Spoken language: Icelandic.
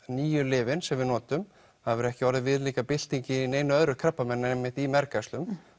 nýju lyfin sem við notum það hefur ekki verið viðlíka bylting í neinu krabbameini en mergæxlum